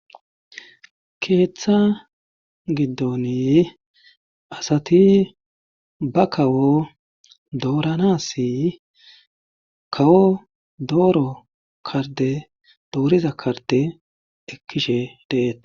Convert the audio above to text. keeththa giddoni asati ba kawo doorana si kawo dooro karde dooriza karde ekkishe deeta